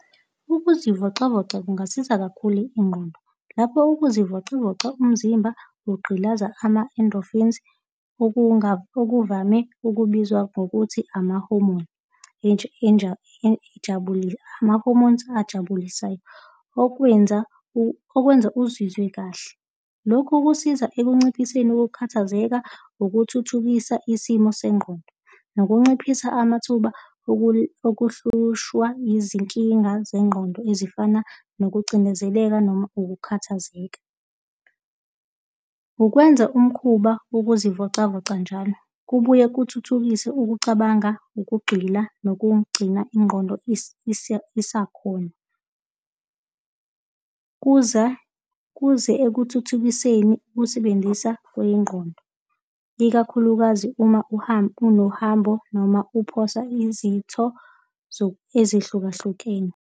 Ukuzivocavoca kungasiza kakhulu ingqondo lapho ukuzivocavoca umzimba kugqilaza ama-endorphins okuvame ukubizwa ngokuthi ama-hormone ejabulile, ama-hormones ajabulisayo okwenza, okwenza uzizwe kahle. Lokhu kusiza ekunciphiseni ukukhathazeka, ukuthuthukisa isimo sengqondo nokunciphisa amathuba okuhlushwa izinkinga zengqondo ezifana nokucindezeleka noma ukukhathazeka. Ukwenza umkhuba wokuzivocavoca njalo kubuye kuthuthukise ukucabanga, ukugxila, nokugcina ingqondo esakhona, ukuze kuze ekuthuthukiseni ukusebenzisa kwengqondo, ikakhulukazi uma uhamba unohambo noma uphosa izitho ezihlukahlukene.